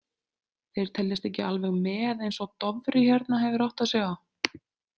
Þeir teljast ekki alveg með eins og Dofri hérna hefur áttað sig á.